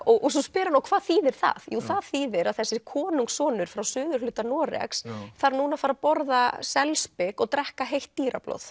og svo spyr hann og hvað þýðir það jú það þýðir það að þessi konungssonur frá suðurhluta Noregs þarf núna að fara að borða selspik og drekka heitt